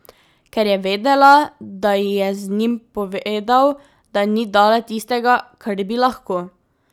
Ker je vedela, da ji je z njim povedal, da ni dala tistega, kar bi lahko.